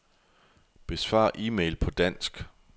Besvar e-mail på dansk.